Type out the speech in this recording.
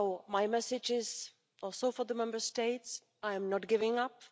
My message is also for the Member States. I am not giving